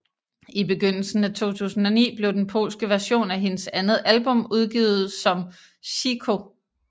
I begyndelsen af 2009 blev den polske version af hendes andet album udgivet som Cicho